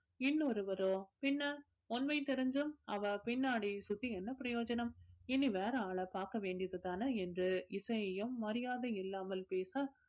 இன்னொருவரோ பின்ன உண்மை தெரிஞ்சும் அவள் பின்னாடி சுத்தி என்ன பிரயோஜனம் இனி வேற ஆளை பார்க்க வேண்டியது தானே என்று இசையையும் மரியாதை இல்லாமல் பேச